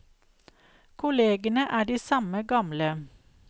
Kollegene er de samme, gamle.